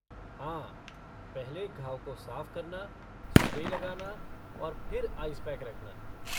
हाँ, पहले घाव को साफ़ करना, स्प्रे लगाना और फिर आइस पैक रखना।